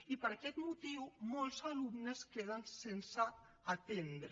i per aquest motiu molts alumnes queden sense atendre